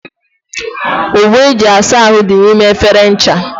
Ogbo eji asa ahụ dị n'ime efere ncha.